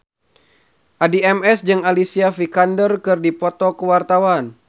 Addie MS jeung Alicia Vikander keur dipoto ku wartawan